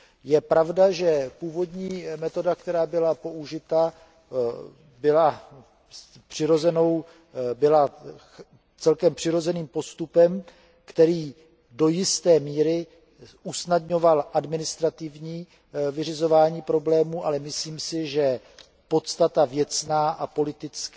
Je pravda, že původní metoda, která byla použita, byla celkem přirozeným postupem, který do jisté míry usnadňoval administrativní vyřizování problémů, ale myslím si, že věcná a politická